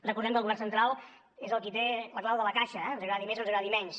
recordem que el govern central és el qui té la clau de la caixa ens agradi més o ens agradi menys